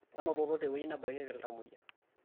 manototo tewueji nebakikieki iltamuoyia